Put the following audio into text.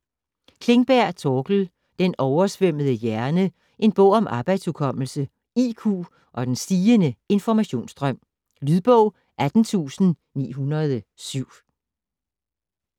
Klingberg, Torkel: Den oversvømmede hjerne: en bog om arbejdshukommelse, IQ og den stigende informationsstrøm Lydbog 18907